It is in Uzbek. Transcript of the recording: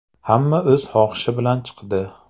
Hamma o‘z xohishi bilan chiqdi.